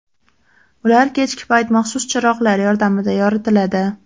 Ular kechki payti maxsus chiroqlar yordamida yoritiladi.